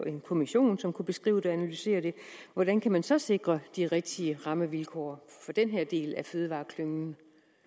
en kommission som kunne beskrive det og analysere det hvordan kan man så sikre de rigtige rammevilkår for den her del af fødevareklyngen